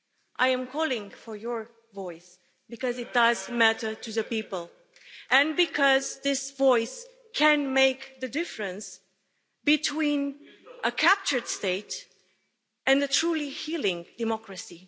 I am calling for your voice because it does matter to the people and because this voice can make the difference between a captured state and a truly healing democracy.